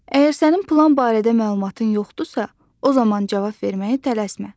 Əgər sənin plan barədə məlumatın yoxdursa, o zaman cavab verməyə tələsmə.